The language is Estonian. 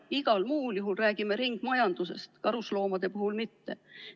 Igal muul juhul räägime ringmajandusest, karusloomade puhul mitte.